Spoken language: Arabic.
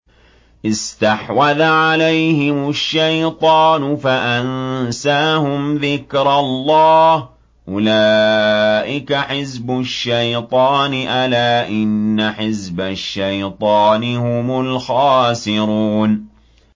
اسْتَحْوَذَ عَلَيْهِمُ الشَّيْطَانُ فَأَنسَاهُمْ ذِكْرَ اللَّهِ ۚ أُولَٰئِكَ حِزْبُ الشَّيْطَانِ ۚ أَلَا إِنَّ حِزْبَ الشَّيْطَانِ هُمُ الْخَاسِرُونَ